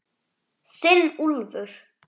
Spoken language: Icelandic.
Þinn Úlfur.